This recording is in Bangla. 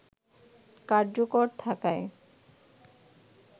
কার্যকর থাকায়